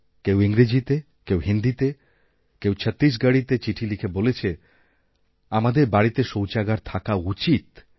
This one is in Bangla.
কেউ ইংরেজিতেকেউ হিন্দিতে কেউ ছত্তিশগড়িতে চিঠি লিখে বলেছে আমাদের বাড়িতে শৌচাগার থাকা উচিত